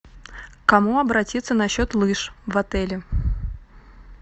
к кому обратиться насчет лыж в отеле